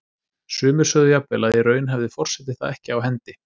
Sumir sögðu jafnvel að í raun hefði forseti það ekki á hendi.